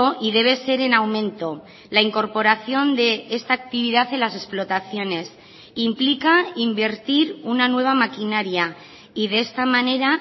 y debe ser en aumento la incorporación de esta actividad en las explotaciones implica invertir una nueva maquinaria y de esta manera